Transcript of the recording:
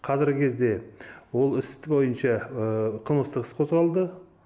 қазіргі кезде ол істі бойынша қылмыстық іс қозғалды